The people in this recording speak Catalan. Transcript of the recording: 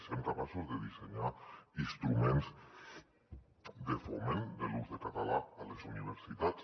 siguem capaços de dissenyar instruments de foment de l’ús del català a les universitats